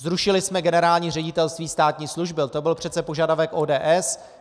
Zrušili jsme Generální ředitelství státní služby, to byl přece požadavek ODS.